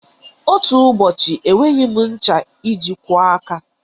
Otú ụbọchị enweghị m ncha iji kwọọ aka.